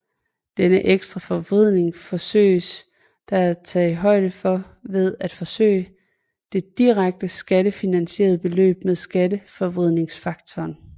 Denne ekstra forvridning forsøges der taget højde for ved at forøge det direkte skattefinansierede beløb med skatteforvridningsfaktoren